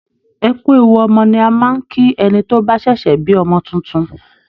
Ẹ kú ewu ọmọ ni a máa ń kí ẹni tó bá ṣẹ̀ṣẹ̀ bí ọmọ tuntun